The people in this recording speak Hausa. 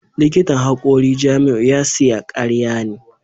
Likitan hakori Jamiu ya siya karya ne